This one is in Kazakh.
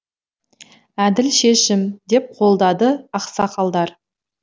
әділ шешім деп қолдады ақсақалдар